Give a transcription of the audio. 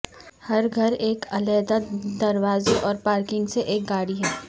ہر گھر ایک علیحدہ دروازے اور پارکنگ سے ایک گاڑی ہے